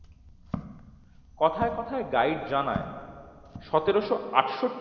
কথায় কথায় গাইড জানায় সতেরশ আঠশটটি